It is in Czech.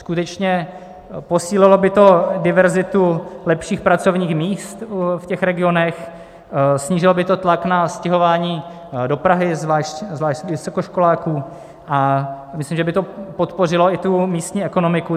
Skutečně posílilo by do diverzitu lepších pracovních míst v těch regionech, snížilo by to tlak na stěhování do Prahy zvlášť vysokoškoláků a myslím, že by to podpořilo i tu místní ekonomiku.